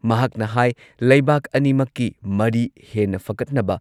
ꯃꯍꯥꯛꯅ ꯍꯥꯏ ꯂꯩꯕꯥꯛ ꯑꯅꯤꯃꯛꯀꯤ ꯃꯔꯤ ꯍꯦꯟꯅ ꯐꯒꯠꯅꯕ